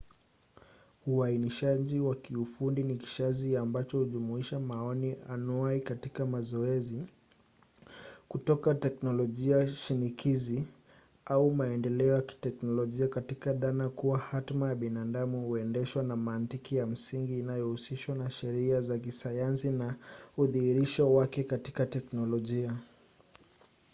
uainishaji wa kiufundi ni kishazi ambacho hujumuisha maoni anuai katika mazoezi kutoka teknolojia shinikizi au maendeleo ya kiteknolojia katika dhana kuwa hatma ya binadamu huendeshwa na mantiki ya msingi inayohusishwa na sheria za kisayansi na udhihirisho wake katika teknolojia